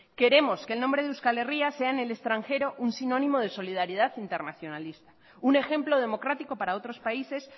queremos que el nombre de euskal herria sea en el extranjero un sinónimo de solidaridad internacionalista un ejemplo democrático para otros países